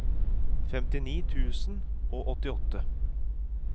femtini tusen og åttiåtte